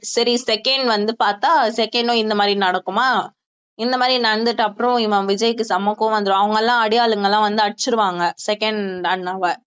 சரி second வந்து பாத்தா second ம் இந்த மாதிரி நடக்குமா இந்த மாதிரி நடந்துட்டு அப்புறம் இவன் விஜய்க்கு செம கோவம் வந்திரும் அவங்கெல்லாம் அடியாளுங்கல்லாம் வந்து அடிச்சிருவாங்க second அண்ணாவை